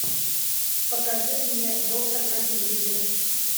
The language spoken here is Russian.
покажи мне доктор на телевизоре